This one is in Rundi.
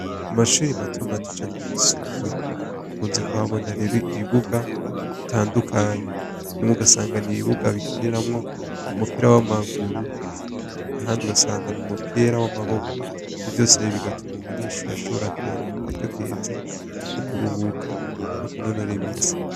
Amashure matomato canke yisumbuye nkunze kuhabonera ibibuga bitandukanye, bimwe ugasanga n'ibibuga bikiniramwo umupira w'amaguru ahandi ugasanga n'umupira w'amaboko. Ivyo vyose bigatuma umunyeshure ashobora kuronka akaryo keza ko kuruhuka no kunonora imitsi.